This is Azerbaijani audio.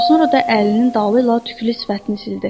Sonra da əlinin dalı ilə tüklü sifətini sildi.